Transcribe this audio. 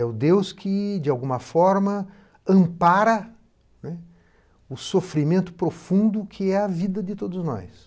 É o Deus que, de alguma forma, ampara, né, o sofrimento profundo que é a vida de todos nós.